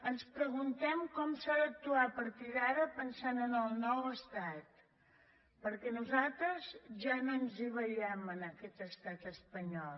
ens preguntem com s’ha d’actuar a partir d’ara pensant en el nou estat perquè nosaltres ja no ens hi veiem en aquest estat espanyol